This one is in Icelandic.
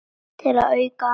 Til að auka andann.